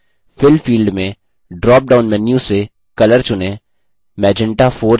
fill field में dropdown menu से color चुनें